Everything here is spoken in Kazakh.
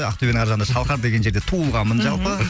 ақтөбенің ар жағында шалқар деген жерде туылғанмын жалпы